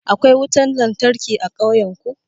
Akwai wutan lantarki a ƙauyan ku?